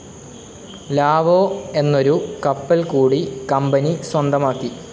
Lao എന്നൊരു കപ്പൽ കൂടി കമ്പനി സ്വന്തമാക്കി.